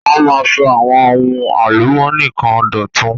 Wọ́n máa ń sọ àwọn ohun álùmónì kan dọ̀tun.